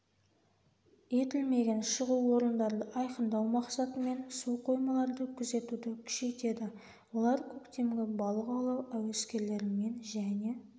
етілмеген шығу орындарды айқындау мақсатымен су қоймаларды күзетуді күшейтеді олар көктемгі балық аулау әуескерлерімен және